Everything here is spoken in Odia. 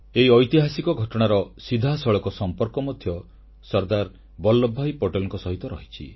ଏହି ଐତିହାସିକ ଘଟଣାର ସିଧାସଳଖ ସମ୍ପର୍କ ମଧ୍ୟ ସର୍ଦ୍ଦାର ବଲ୍ଲଭଭାଇ ପଟେଲଙ୍କ ସହିତ ରହିଛି